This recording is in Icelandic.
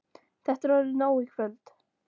Þetta er orðið nóg í kvöld.